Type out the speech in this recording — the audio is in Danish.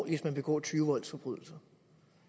hvis man begår tyve voldsforbrydelser